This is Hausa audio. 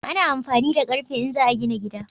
Ana amfani da ƙarfe in za a gina gida